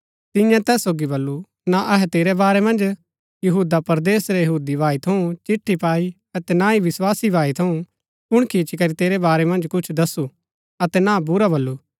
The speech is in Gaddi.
तिन्ये तैस सोगी बल्लू ना अहै तेरै बारै मन्ज यहूदा परदेस रै यहूदी भाई थऊँ चिट्ठी पाई अतै ना ही विस्वासी भाई थऊँ कुणकी इच्ची करी तेरै बारै मन्ज कुछ दसु अतै ना बुरा बल्लू